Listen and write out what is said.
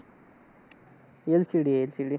LCD, LCD.